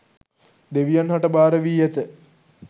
දෙවියන් හට භාර වී ඇත